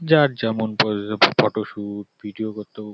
যার যেমন প্রয়োজন ফটো শুট ভিডিও করতেও--